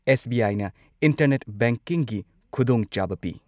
S. B. I. ꯅ internet ꯕꯦꯡꯀꯤꯡꯒꯤ ꯈꯨꯗꯣꯡꯆꯥꯕ ꯄꯤ꯫